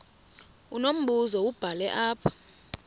unombuzo wubhale apha